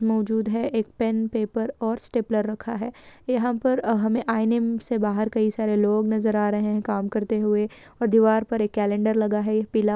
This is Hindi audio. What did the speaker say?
मौजूद है एक पेन पेपर और स्टेप्लर रखा है यहाँ पर हमे आईने से बाहर कई सारे लोग नज़र आ रहे है काम करते हुए और दीवार पर एक कैलेंडर लगा है पीला--